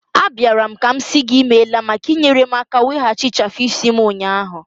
Abịara m ka m sị gị imela maka inyere m aka weghachi ịchafu isi m ụnyahụ.